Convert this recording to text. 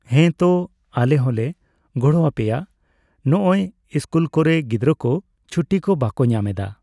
ᱦᱮᱸᱛᱚ ᱟᱞᱮ ᱦᱚᱸᱞᱮ ᱜᱚᱲᱚᱣᱟᱯᱮᱭᱟ, ᱱᱚᱸᱜᱼᱚᱭ ᱤᱥᱠᱩᱞ ᱠᱚᱨᱮ ᱜᱤᱫᱽᱨᱟᱹ ᱠᱚ ᱪᱷᱩᱴᱤ ᱠᱚ ᱵᱟᱠᱚ ᱧᱟᱢᱮᱫᱟ ᱾